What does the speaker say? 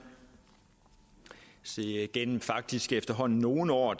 se gennem faktisk efterhånden nogle år